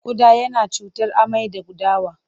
Ƙuda yana sa cutar amai da gudawa.